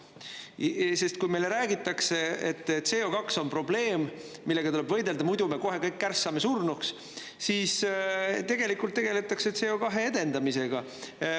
Sest kui meile räägitakse, et CO2 on probleem, millega tuleb võidelda, muidu me kohe kõik kärssame surnuks, siis tegelikult tegeldakse CO2 edendamisega.